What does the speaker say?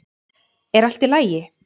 Er allt í lagi?